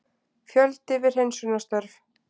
Fjöldi við hreinsunarstörf